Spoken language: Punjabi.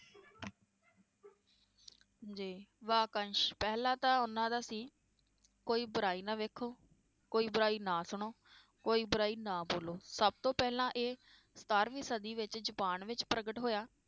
ਜੀ ਵਾਕੰਸ਼ ਪਹਿਲਾਂ ਤਾਂ ਉਹਨਾਂ ਦਾ ਸੀ ਕੋਈ ਬੁਰਾਈ ਨਾ ਵੇਖੋ, ਕੋਈ ਬੁਰਾਈ ਨਾ ਸੁਣੋ, ਕੋਈ ਬੁਰਾਈ ਨਾ ਬੋਲੋ, ਸਬਤੋਂ ਪਹਿਲਾਂ ਇਹ ਸਤਾਰਵੀਂ ਸਦੀ ਵਿਚ ਜਪਾਨ ਵਿਚ ਪ੍ਰਗਟ ਹੋਇਆ